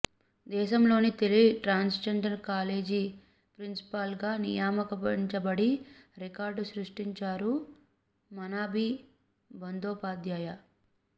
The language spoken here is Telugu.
దేశంలోనే తొలి ట్రాన్స్జెండర్ కాలేజీ ప్రిన్సిపాల్గా నియమించబడి రికార్డు సృష్టించారు మనాబీ బందోపాధ్యాయ